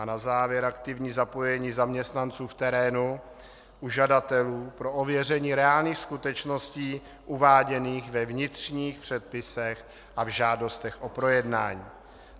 A na závěr aktivní zapojení zaměstnanců v terénu u žadatelů pro ověření reálných skutečností uváděných ve vnitřních předpisech a v žádostech o projednání.